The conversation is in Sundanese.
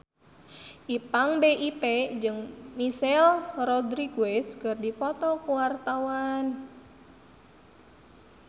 Ipank BIP jeung Michelle Rodriguez keur dipoto ku wartawan